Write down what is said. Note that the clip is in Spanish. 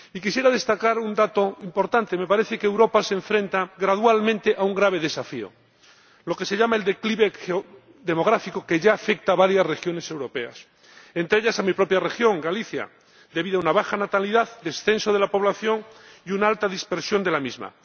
Quisiera destacar un dato importante me parece que Europa se enfrenta gradualmente a un grave desafío, lo que se llama el declive demográfico, que ya afecta a varias regiones europeas, entre ellas, a mi propia región, Galicia, debido a una baja natalidad, al descenso de la población y a una alta dispersión de la misma.